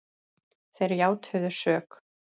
Þeir játuðu sök